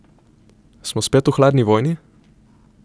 Smo spet v hladni vojni?